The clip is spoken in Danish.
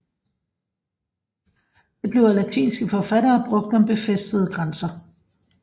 Det blev af latinske forfattere brugt om befæstede grænser